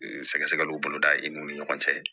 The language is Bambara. Sɛgɛsɛgɛliw boloda i n'u ni ɲɔgɔn cɛ